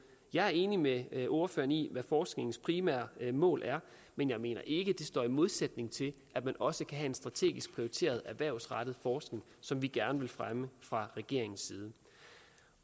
jeg er enig med med ordføreren i hvad forskningens primære mål er men jeg mener ikke det står i modsætning til at man også kan have en strategisk prioriteret erhvervsrettet forskning som vi gerne vil fremme fra regeringens side